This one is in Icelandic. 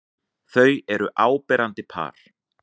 Þau eru áberandi par.